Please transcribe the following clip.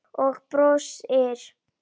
Og brosir.